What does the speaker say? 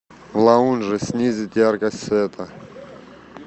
в лаунже снизить яркость света